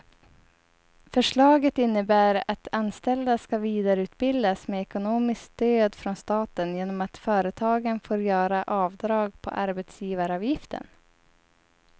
Förslaget innebär att anställda ska vidareutbildas med ekonomiskt stöd från staten genom att företagen får göra avdrag på arbetsgivaravgiften.